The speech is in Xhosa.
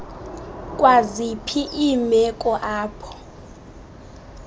kwaziphi iimeko apho